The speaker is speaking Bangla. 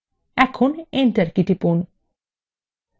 এখন enter key টিপুন